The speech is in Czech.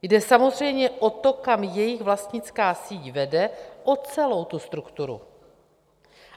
Jde samozřejmě o to, kam jejich vlastnická síť vede, o celou tu strukturu.